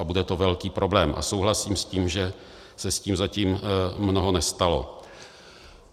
A to bude velký problém a souhlasím s tím, že se s tím zatím mnoho nestalo.